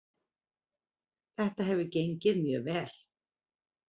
Þetta hefur gengið mjög vel